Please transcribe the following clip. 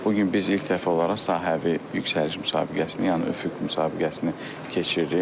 Bu gün biz ilk dəfə olaraq sahəvi yüksəliş müsabiqəsini, yəni üfüq müsabiqəsini keçiririk.